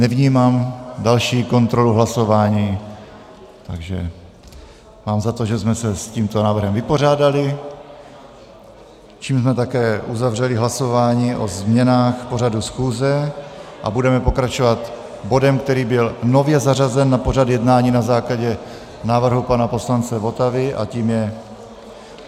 Nevnímám další kontrolu hlasování, takže mám za to, že jsme se s tímto návrhem vypořádali, čímž jsme také uzavřeli hlasování o změnách pořadu schůze a budeme pokračovat bodem, který byl nově zařazen na pořad jednání na základě návrhu pana poslance Votavy, a tím je